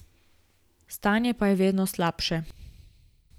Stanje pa je vedno slabše.